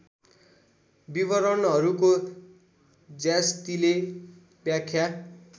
विवरणहरूको ज्यास्तीले व्याख्या